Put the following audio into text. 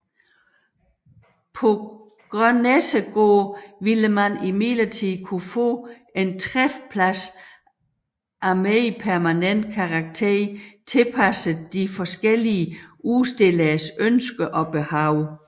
På Grønnessegård ville man imidlertid kunne få en træfplads af mere permanent karakter tilpasset de forskellige udstilleres ønsker og behov